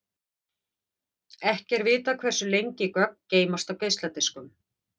Ekki er vitað hversu lengi gögn geymast á geisladiskum.